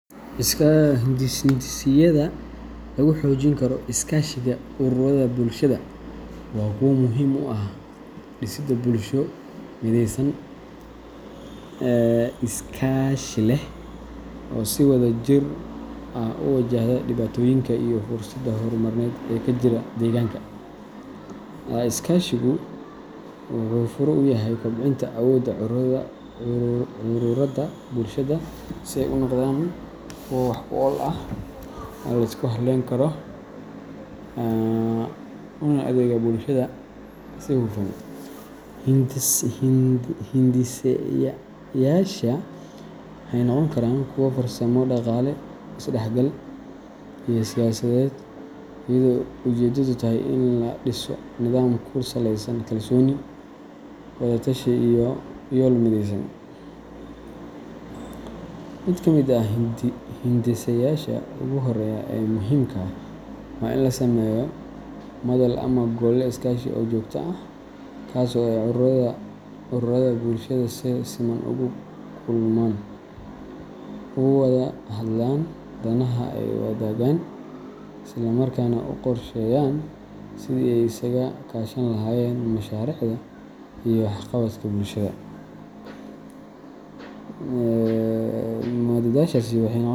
Hindiseyaasha lagu xoojin karo iskaashiga ururada bulshada waa kuwo muhiim u ah dhisidda bulsho mideysan, is-kaashi leh, oo si wadajir ah u wajahda dhibaatooyinka iyo fursadaha horumarineed ee ka jira deegaanka. Iskaashigu wuxuu fure u yahay kobcinta awoodda ururada bulshada si ay u noqdaan kuwo wax-ku-ool ah, la isku halayn karo, una adeega bulshada si hufan. Hindiseyaashaasi waxay noqon karaan kuwo farsamo, dhaqaale, is-dhexgal, iyo siyaasadeed, iyadoo ujeedadu tahay in la dhiso nidaam ku saleysan kalsooni, wada-tashi, iyo yool mideysan. Mid ka mid ah hindiseyaasha ugu horreeya ee muhiimka ah waa in la sameeyo madal ama gole iskaashi oo joogto ah, kaas oo ay ururrada bulshada si siman ugu kulmaan, uga wada hadlaan danaha ay wadaagaan, islamarkaana u qorsheeyaan sidii ay isaga kaashan lahaayeen mashaariicda iyo waxqabadka bulshada. Madashaasi waxay noqon.